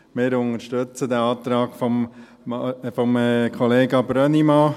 Wir unterstützen den Antrag von Kollega Brönnimann.